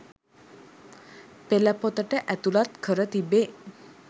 පෙළ පොතට ඇතුළත් කර තිබේ.